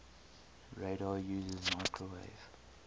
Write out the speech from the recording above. radar uses microwave